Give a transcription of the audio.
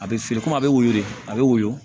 A bɛ feere komi a bɛ woyo de a bɛ woyɔ